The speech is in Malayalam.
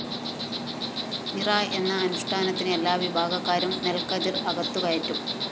നിറ എന്ന അനുഷ്ഠാനത്തിന് എല്ലാവിഭാഗക്കാരും നെല്‍ക്കതിര്‍ അകത്തുകയറ്റും